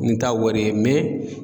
Ni t'a wari ye